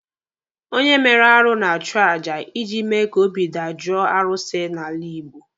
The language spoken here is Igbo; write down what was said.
Onye mere arụ na-achụ aja iji mee ka obi dajoo arụsị n'ala Igbo.